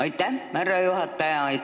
Aitäh, härra juhataja!